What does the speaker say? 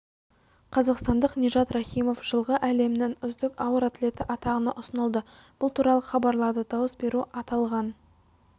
қазақстандық нижат рахимов жылғы әлемнің үздік ауыр атлеті атағына ұсынылды бұл туралы хабарлады дауыс беру аталған